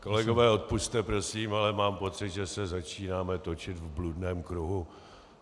Kolegové, odpusťte prosím, ale mám pocit, že se začínáme točit v bludném kruhu.